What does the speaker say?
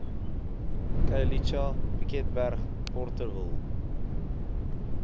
khayelitsha piketberg porterville